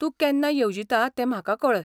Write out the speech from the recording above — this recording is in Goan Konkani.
तूं केन्ना येवजिता तें म्हाका कळय.